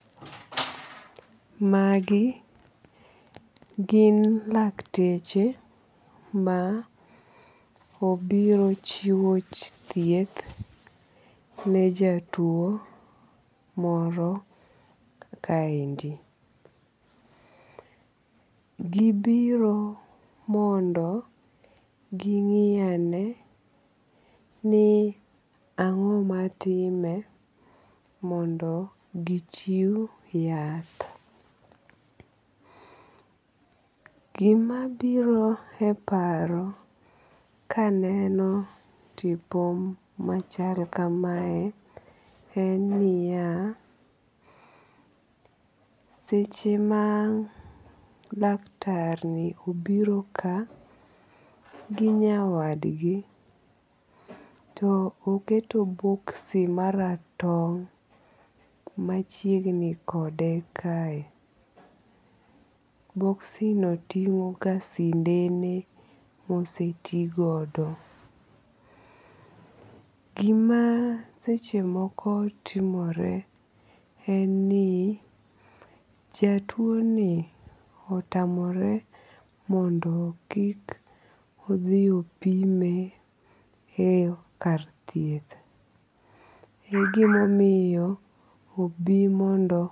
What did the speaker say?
Magi gin lakteche ma obiro chiwo thieth ne jatuo moro kaendi. Gibiro mondo ging'iyane ni ang'o matime mondo gichiw yath. Gimabiro e paro kaneno tipo machal kamae en niya, seche ma laktar ni obiro ka gi nyawadgi, to oketo boxi maratong' machiegni kode kae, boxi no ting'o ga sindene mose ti godo. Gima seche moko timore en ni jatuo ni otamore mondo kik odhi opime e kar thieth. E gimomiyo obi mondo.